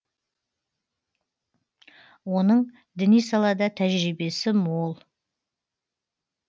оның діни салада тәжірибесі мол